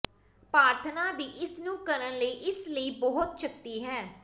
ਪ੍ਰਾਰਥਨਾ ਦੀ ਇਸ ਨੂੰ ਕਰਨ ਲਈ ਇਸ ਲਈ ਬਹੁਤ ਸ਼ਕਤੀ ਹੈ